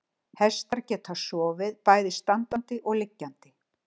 Hestar geta sofið bæði standandi og liggjandi.